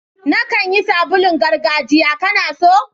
Na kan yi sabulun gargajiya, ka na so?